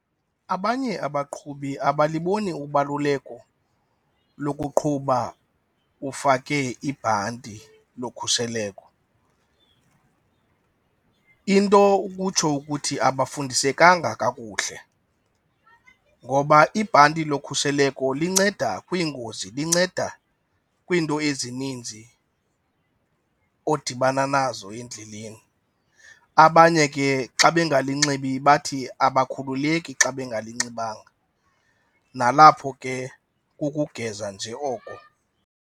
Abanye abaqhubi abaliboni ubaluleko lokuqhuba ufake ibhanti lokhuseleko. Into ukutsho ukuthi abafundisekanga kakuhle ngoba ibhanti lokhuseleko linceda kwiingozi, linceda kwiinto ezininzi odibana nazo endleleni. Abanye ke xa bengalinxibi bathi abakhululeki xa bengalinxibanga, nalapho ke kukogeza nje oko.